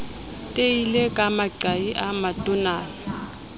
teile ka maqai a matonana